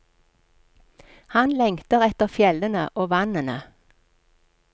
Han lengter etter fjellene og vannene.